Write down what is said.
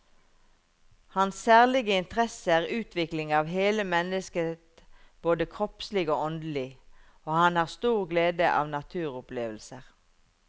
Hans særlige interesse er utvikling av hele mennesket både kroppslig og åndelig, og han har stor glede av naturopplevelser.